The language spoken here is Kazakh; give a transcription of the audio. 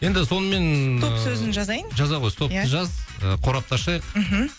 енді сонымен ыыы стоп сөзін жазайын жаза ғой иә стопты жаз ы қорапты ашайық мхм